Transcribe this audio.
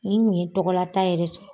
Nin kun ɲe tɔgɔlata yɛrɛ sɔrɔ.